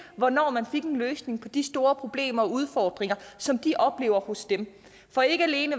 hvornår man fik en løsning på de store problemer og udfordringer som de oplever for ikke alene